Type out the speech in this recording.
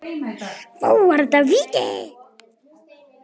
Var þetta víti?